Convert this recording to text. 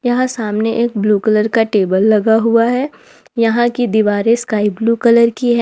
यहां सामने एक ब्लू कलर का टेबल लगा हुआ है यहां की दीवारें स्काई ब्लू कलर की है।